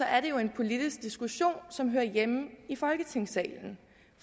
er det jo en politisk diskussion som hører hjemme i folketingssalen